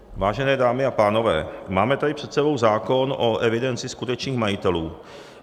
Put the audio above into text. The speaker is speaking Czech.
Vážené dámy a pánové, máme tady před sebou zákon o evidenci skutečných majitelů.